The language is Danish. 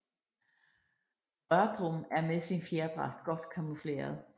Rørdrum er med sin fjerdragt godt camoufleret